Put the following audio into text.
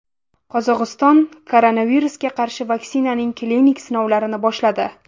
Qozog‘iston koronavirusga qarshi vaksinaning klinik sinovlarini boshladi.